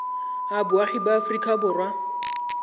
a boagi ba aforika borwa